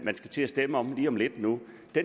skal til at stemme om lige om lidt